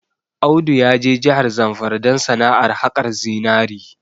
Audu ya je jahar Zamfara don sana'ar haƙar zinari